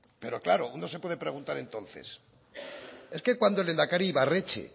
pero claro uno se puede preguntar entonces es que cuando el lehendakari ibarretxe